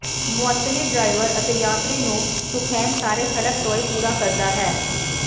ਮੁਅੱਤਲੀ driver ਅਤੇ ਯਾਤਰੀ ਨੂੰ ਸੁਖੈਨ ਸਾਰੇ ਸੜਕ ਟੋਏ ਪੂਰਾ ਕਰਦਾ ਹੈ